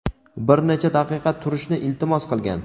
bir necha daqiqa turishni iltimos qilgan.